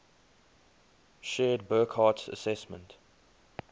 shared burckhardt's assessment